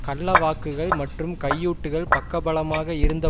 கள்ள வாக்குகள் மற்றும் கையூட்டுகள் பக்கபலமாக இருந்த